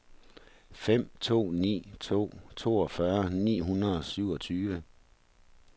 fem to ni to toogfyrre ni hundrede og syvogtyve